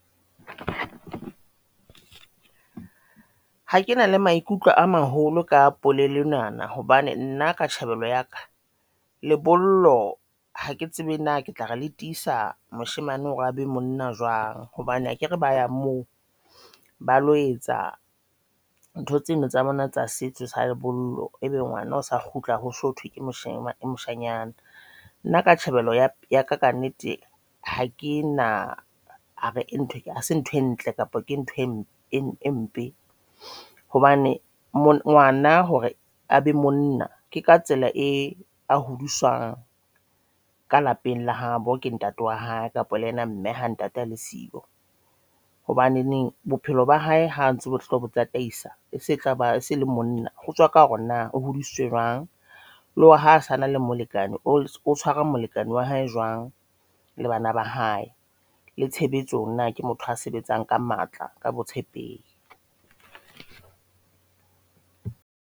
Ha ke na le maikutlo a maholo ka polelo ena na hobane nna ka tjhebelo ya ka lebollo hake tsebe na ke tla re le tisa moshemane hore a be monna jwang hobane akere ba yang moo ba lo etsa ntho tseno tsa bona tsa setso sa lebollo. Ebe ngwana o sa kgutla ho sothwe ke moshanyana, nna ka tjhebelo ya ka nnete ha ke na re hase ntho e ntle kapa ke ntho e mpe hobane ngwana hore a be monna ke ka tsela a hodiswang ka lapeng la habo ke ntate wa hae kapa le ena mme ha ntate a le sio. Hobaneneng bophelo ba hae ha ntso bohloko bo tataisa setjhaba sa feleng, Monna hotswa ka hore na o hudisitswe e jwang, le hore ha sana le molekane o molekane wa hae jwang le bana ba hae le tshebetsong na ke motho a sebetsang ka matla ka botshepehi.